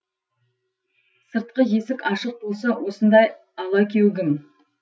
сыртқы есік ашық болса осындай алакеугім